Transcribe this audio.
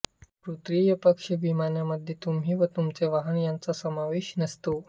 तृतीय पक्ष विम्यामध्ये तुम्ही व तुमचे वाहन यांचा समावेश नसतो